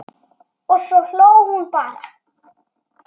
Og svo hló hún bara.